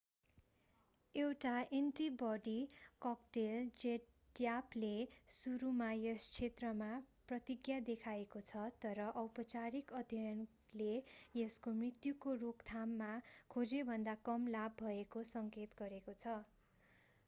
एउटा antibody cocktail जेडम्यापले सुरुमा यस क्षेत्रमा प्रतिज्ञा देखाएको छ तर औपचारिक अध्ययनले यसको मृत्युको रोकथाममा खोजेभन्दा कम लाभ भएको सङ्केत गरेको छ